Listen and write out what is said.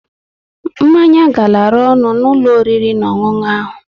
Mmanya garara ọnụ n'ụlọ oriri na onwunwu ahụ